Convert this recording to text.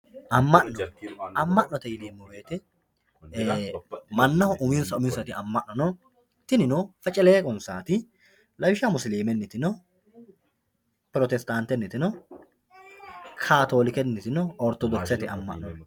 amma'no amma'note yineemmo woyiite mannaho uminsa uminsati amma'no no tinino feceleeqonsaati lawishshaho musilimenniti no protestaantenniti no kaatoolikenniti no ortodokisete amma'no no